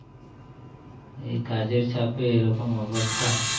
এই কাজের চাপে এরকম অবস্থা